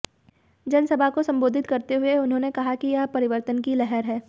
जनसभा को संबोधित करते हुए उन्होंने कहा कि यह परिवर्तन की लहर है